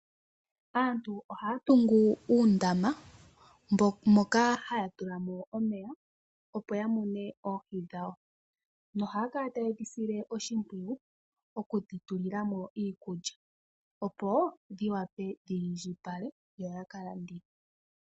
Aantu ohaya tungu uundama moka haya tula mo omeya opo ya mune oohi dhawo noha ya kala taye dhi sile oshimpwiyu okudhi tulila mo iikulya opo dhi vule okwiindjipala yo ya ka landithe.